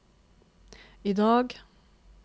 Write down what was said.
idag